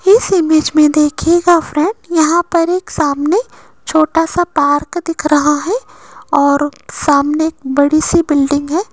इस इमेज में देखिएगा फ्रेंड यहां पर एक सामने छोटासा पार्क दिख रहा हैं और सामने एक बड़ीसी बिल्डिंग हैं।